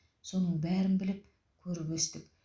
соның бәрін біліп көріп өстік